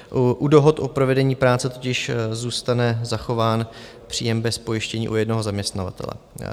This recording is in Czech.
U dohod o provedení práce totiž zůstane zachován příjem bez pojištění u jednoho zaměstnavatele.